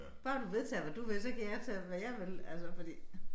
Bare du vedtager hvad du vil så kan jeg tage hvad jeg vil altså fordi